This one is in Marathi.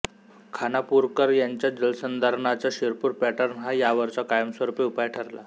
खानापूरकर यांचा जलसंधारणाचा शिरपूर पॅटर्न हा यावरचा कायमस्वरूपी उपाय ठरला